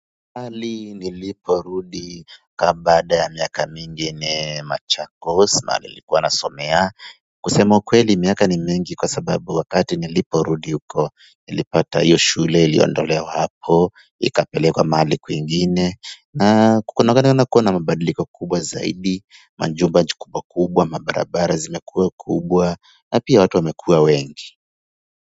Mahali niliporudi ka baada ya miaka mingi ni Machakos mahali nilikuwa nasomea kusema ukweli miaka ni mingi kwa sababu wakati nilipo rudi huko nilipata hiyo shule iliondolewa hapo ikapelekwa mahali kwingine na kuna wakati nina kuwa na mabadiliko kubwa zaidi majumba nchi kubwa kubwa mabarabara zimekua kubwa na pia watu wamekua wengi.